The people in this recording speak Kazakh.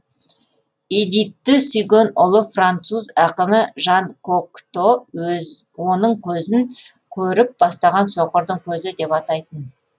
эдитті сүйген ұлы француз ақыны жан кокто өз оның көзін көріп бастаған соқырдың көзі деп атайтын